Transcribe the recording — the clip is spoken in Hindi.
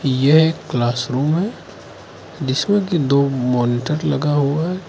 ये एक क्लासरूम है जिसमें की दो मॉनिटर लगा हुआ है।